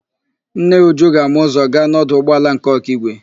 Nne Uju ga-ama ụzọ gaa n'ọdụ ụgbọala nke Ọkigwe.